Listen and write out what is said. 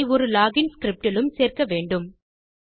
இதை ஒரு login script இலும் சேர்க்க வேண்டும்